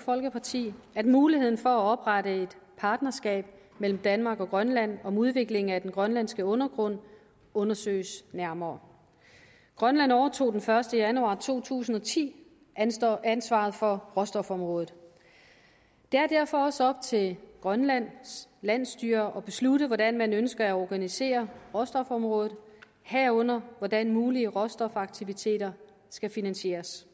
folkeparti at muligheden for at oprette et partnerskab mellem danmark og grønland om udviklingen af den grønlandske undergrund undersøges nærmere grønland overtog den første januar to tusind og ti ansvaret ansvaret for råstofområdet det er derfor også op til grønlands landsstyre at beslutte hvordan man ønsker at organisere råstofområdet herunder hvordan mulige råstofaktiviteter skal finansieres